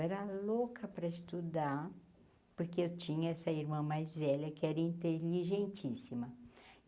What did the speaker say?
Eu era louca para estudar, porque eu tinha essa irmã mais velha, que era inteligentíssima.